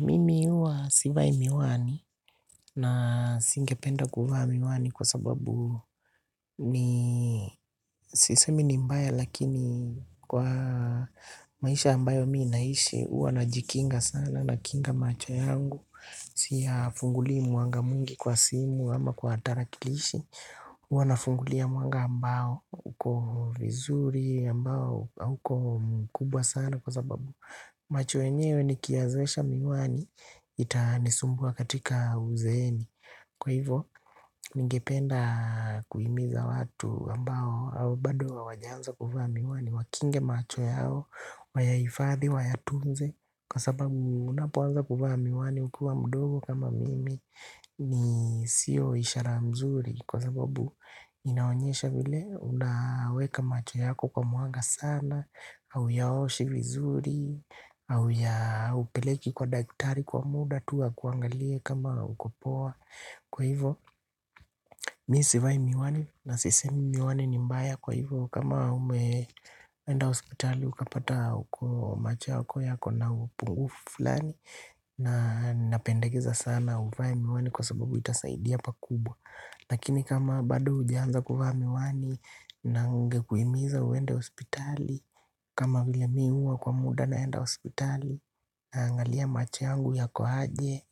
Mimi huwa sivai miwani na singependa kuvaa miwani kwa sababu ni sisemi ni mbaya lakini kwa maisha ambayo ninayoishi huwa najikinga sana nakinga macho yangu. Siyafungulii mwanga mwingi kwa simu ama kwa tarakilishi huwa nafungulia mwanga ambao uko vizuri ambao uko mkubwa sana kwa sababu. Macho yenyewe nikiyazoesha miwani itanisumbwa katika uzeeni. Kwa hivyo, ningependa kuhimiza watu ambao au bado hawajaanza kuvaa miwani. Wakinge macho yao, wayaifadhi, wayatunze. Kwa sababu unapoanza kuvaa miwani ukiwa mdogo kama mimi. Ni siyo ishara mzuri. Kwa sababu inaonyesha vile unaweka macho yako kwa mwanga sana hauyaoshi vizuri. Au hauyapeleki kwa daktari kwa muda tu akuangalie kama uko poa. Kwa hivo, mi sivai miwani na sisemi miwani ni mbaya kwa hivo. Kama umeenda hospitali, ukapata uko macho uko yako na upungufu fulani. Na napendekeza sana uvae miwani kwa sababu itasaidia pakubwa. Lakini kama bado hujaanza kuvaa miwani na ningekuhimiza uende hospitali. Kama vile mi huwa kwa muda naenda hospitali naangalia macho yangu yako aje.